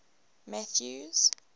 mathews